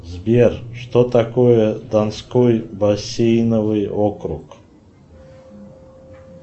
сбер что такое донской бассейновый округ